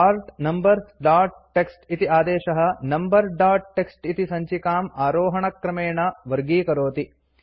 sort numbers dot TXT इति आदेशः number dot TXT इति सञ्चिकाम् आरोहणक्रमेण वर्गीकरोति